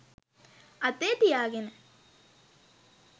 අතේ තියාගෙන.